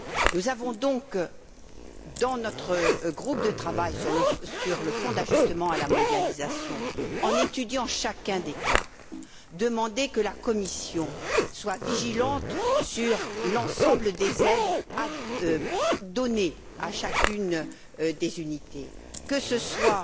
Nous avons donc, dans notre groupe de travail sur le Fonds d'ajustement à la mondialisation, en étudiant chacun des cas, demandé que la Commission soit vigilante sur l'ensemble des aides données à chacune des unités, que ce soit